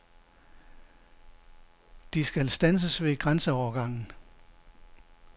De skal standses ved grænseovergangen.